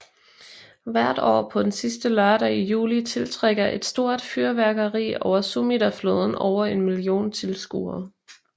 Hvert år på den sidste lørdag i juli tiltrækker et stort fyrværkeri over Sumidafloden over en million tilskuere